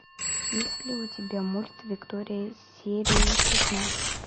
есть ли у тебя мульт виктория серия шестнадцать